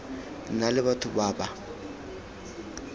na le batho ba ba